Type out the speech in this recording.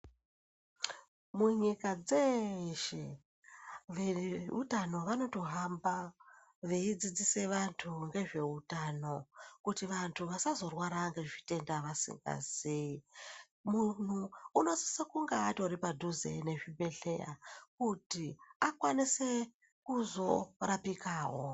Munyika dzeshe veutano vanotohamba veidzidzisa vantu ngezveutano kuti vantu vasazorwara ngezvitenda vasingazii munhu unosisa kunge atori padhuze nezvibhedhlera kuti akwanise kuzorapikawo.